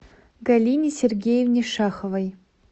галине сергеевне шаховой